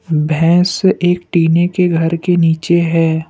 भैंस एक टिने के घर के नीचे है।